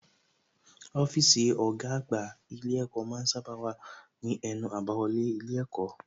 Ọ́fíìsì ọ̀gá àgbà ilé ẹ̀kọ́ ma ń sábà wà ní ẹnu àbáwọlé ilé ẹ̀kọ́